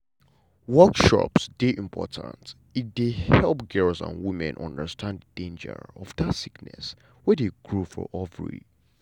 workshops dey important e dey help girls and women understand the danger of that sickness wey dey grow for ovary.